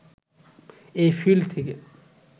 এ field থেকে